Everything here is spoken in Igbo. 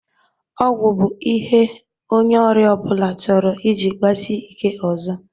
Ọgwọ bụ ihe onye ọria ọbụla chọrọ iji kpasie ike ọzọ.